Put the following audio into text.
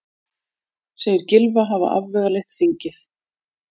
Segir Gylfa hafa afvegaleitt þingið